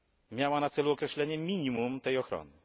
Miała na celu określenie minimum tej ochrony.